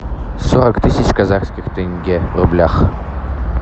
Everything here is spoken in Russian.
сорок тысяч казахских тенге в рублях